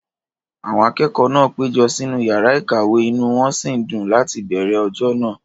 Àwọn akẹ́kọ̀ọ́ náà péjọ sínú yàrá ìkàwé, inú wón sì ń dùn láti bẹ̀ẹ̀rẹ̀ ọjọ́ náà